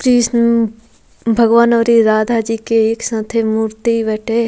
कृष्ण भगवान और इ राधा जी के एक साथे मूर्ति बाटे।